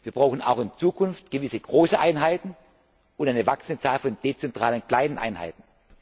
auflösen. Wir brauchen auch in Zukunft gewisse große Einheiten und eine wachsende Zahl von dezentralen kleinen Einheiten.